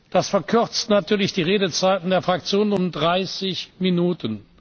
Das verkürzt natürlich die Redezeit der Fraktionen um 30 Minuten.